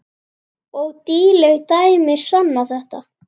Og nýleg dæmi sanna þetta.